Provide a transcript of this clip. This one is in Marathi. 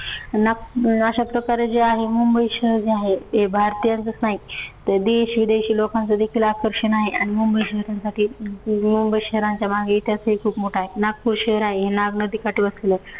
ना अशाप्रकारे जे आहे मुंबई शहर जे आहे ते भारतीयांचच नाही तर तर देश-विदेशी लोकांचं देखील आकर्षण आहे. आणि मुंबई त्यांच्यासाठी मुंबई शहराच्यामागे इतिहास ही खूप मोठा आहे. नागपूर शहर आहे हे नाग नदीकाठी वसलेलं आहे.